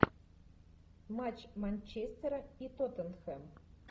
матч манчестера и тоттенхэм